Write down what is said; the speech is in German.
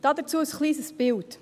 Dazu ein kleines Bild.